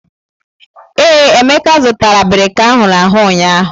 Ee, Emeka zụtara abirika ahụrụ ahụ ụnyahụ.